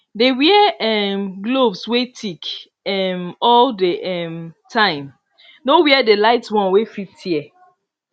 dey wear um gloves wey thick um all the um time no wear the light one wey fit tear